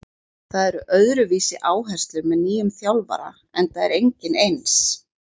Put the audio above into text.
Það eru öðruvísi áherslur með nýjum þjálfara enda er enginn eins.